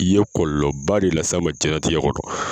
I ye kɔlɔlɔba de las'a ma diɲɛlatigɛ kɔnɔ.